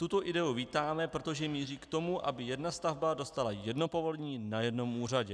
Tuto ideu vítáme, protože míří k tomu, aby jedna stavba dostala jedno povolení na jednom úřadě.